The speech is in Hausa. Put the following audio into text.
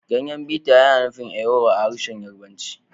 Ganyen biter yana nufin ewuro a harshen Yarbanci